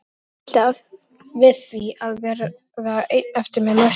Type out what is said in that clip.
Hana hryllti við því að verða ein eftir með Mörtu.